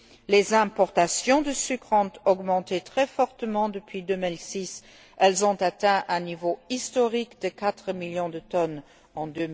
Les importations de sucre ont augmenté très fortement depuis 2006. Elles ont atteint un niveau historique de 4 millions de tonnes en